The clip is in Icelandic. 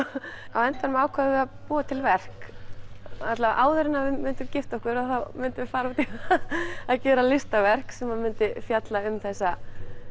á endanum ákváðum við að búa til að verk allavega áður en við myndum gifta okkur myndum við gera listaverk sem myndi fjalla um þessa